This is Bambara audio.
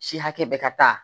Si hakɛ bɛ ka taa